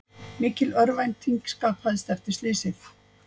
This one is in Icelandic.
Mikil örvænting skapaðist eftir slysið